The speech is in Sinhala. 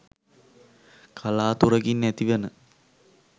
කලාතුරකින් ඇතිවන